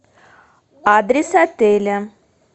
адрес отеля